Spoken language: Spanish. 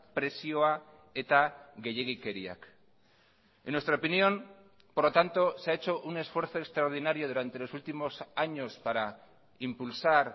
presioa eta gehiegikeriak en nuestra opinión por lo tanto se ha hecho un esfuerzo extraordinario durante los últimos años para impulsar